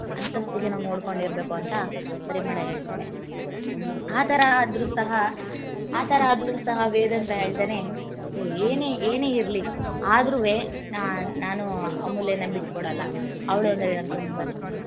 ನಮ್ಮ ಅಂತಸ್ತಿಗೆ ನೋಡ್ಕೊಂಡಿರ್ಬೇಕು ಅಂತ ಪರಿಮಳ ಹೇಳ್ತಾಳೆ ಆತರ ಆದ್ರೂ~ ಆತರ ಆದ್ರೂ ಸಹ ವೇದಾಂತ ಹೇಳ್ತಾನೆ ಹೇ ಏನೇ ಇರಲಿ ಅದ್ರುವೆ ನಾನು ಅಮೂಲ್ಯ ನ ಬಿಟ್ಟಕೊಡಲ್ಲ ಅವಳು ಅಂದ್ರೆ ನಂಗೆ ತುಂಬಾ ಇಷ್ಟ.